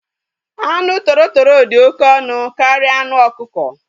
Anụ toro toro dị oké ọnụ karịa anụ okuko